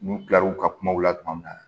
N'u kila l'u ka kumaw la tuma min na